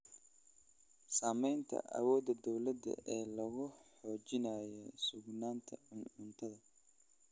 Saamaynta awoodda dawladda ee lagu xoojinayo sugnaanta cuntada.